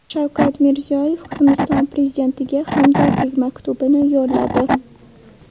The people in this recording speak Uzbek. Shavkat Mirziyoyev Hindiston prezidentiga hamdardlik maktubini yo‘lladi.